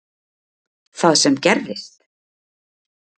Það sem gerðist?